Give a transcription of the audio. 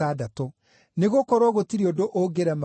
Nĩgũkorwo gũtirĩ ũndũ ũngĩrema Ngai.”